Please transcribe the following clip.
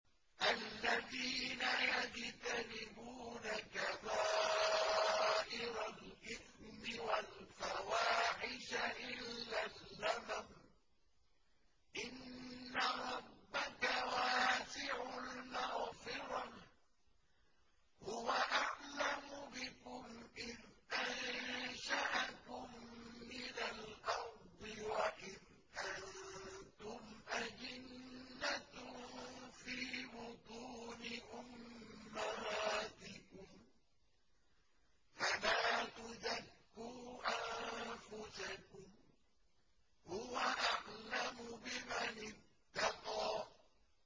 الَّذِينَ يَجْتَنِبُونَ كَبَائِرَ الْإِثْمِ وَالْفَوَاحِشَ إِلَّا اللَّمَمَ ۚ إِنَّ رَبَّكَ وَاسِعُ الْمَغْفِرَةِ ۚ هُوَ أَعْلَمُ بِكُمْ إِذْ أَنشَأَكُم مِّنَ الْأَرْضِ وَإِذْ أَنتُمْ أَجِنَّةٌ فِي بُطُونِ أُمَّهَاتِكُمْ ۖ فَلَا تُزَكُّوا أَنفُسَكُمْ ۖ هُوَ أَعْلَمُ بِمَنِ اتَّقَىٰ